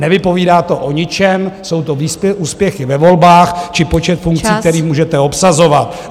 Nevypovídá to o ničem, jsou to úspěchy ve volbách či počet funkcí, které můžete obsazovat.